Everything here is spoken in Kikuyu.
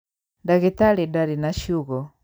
Ndagĩtarĩ ndarĩ na ciugo